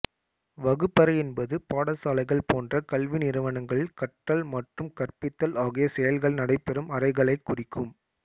வகுப்பறை என்பது பாடசாலைகள் போன்ற கல்வி நிறுவனங்களில் கற்றல் மற்றும் கற்பித்தல் ஆகிய செயல்கள் நடைபெறும் அறைகளைக் குறிக்கும்